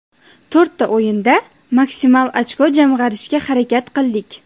To‘rtta o‘yinda maksimal ochko jamg‘arishga harakat qildik.